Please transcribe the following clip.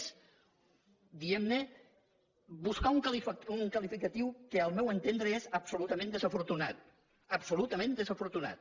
és diguem ne buscar un qualificatiu que al meu entendre és absolutament desafortunat absolutament desafortunat